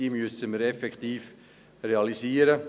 Dies müssen wir effektiv realisieren.